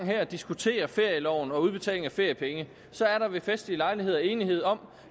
diskuterer ferieloven og udbetaling af feriepenge så ved festlige lejligheder er enighed om